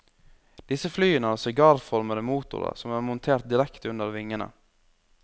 Disse flyene har sigarformede motorer som er montert direkte under vingene.